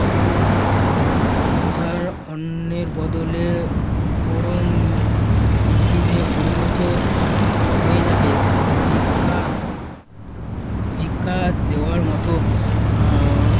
ক্ষুধার অন্নের বদলে পরম নিষিদ্ধে পরিণত হয়ে যাবে। ভিক্ষা ভিক্ষা দেওয়ার মতো আহ